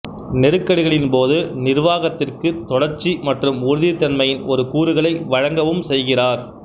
நெருக்கடிகளின் போது நிர்வாகத்திற்கு தொடர்ச்சி மற்றும் உறுதித் தன்மையின் ஒரு கூறுகளை வழங்கவும் செய்கிறார்